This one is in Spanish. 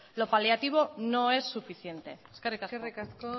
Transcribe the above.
lo paliativo no es suficiente eskerrik asko eskerrik asko